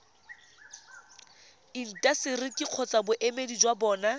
intaseteri kgotsa boemedi jwa bona